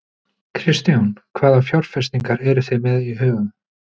Kristján: Hvaða fjárfestingar eruð þið með í huga?